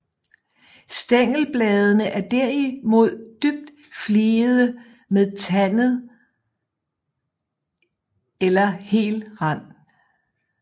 Stængelbladene er derimod dybt fligede med tandet eller hel rand